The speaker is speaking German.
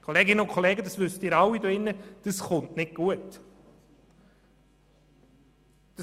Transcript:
Kolleginnen und Kollegen, Sie alle hier wissen, dass dies nicht gut kommt.